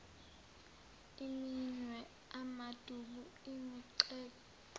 iminwe amaduku imigexo